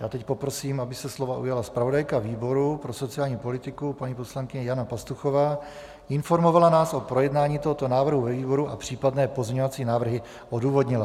Já teď poprosím, aby se slova ujala zpravodajka výboru pro sociální politiku paní poslankyně Jana Pastuchová, informovala nás o projednání tohoto návrhu ve výboru a případné pozměňovací návrhy odůvodnila.